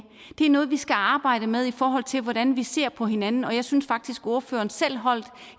det er noget vi skal arbejde med i forhold til hvordan vi ser på hinanden og jeg synes faktisk at ordføreren selv holdt